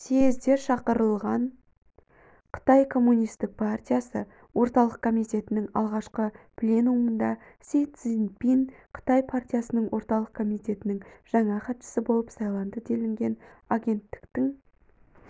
съезде шақырылған қытай коммунистік партиясы орталық комитетінің алғашқы пленумында си цзиньпин қытай партиясының орталық комитетінің жаңа хатшысы болып сайланды делінген агенттіктің